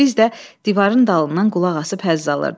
Biz də divarın dalından qulaqasıb həzz alırdıq.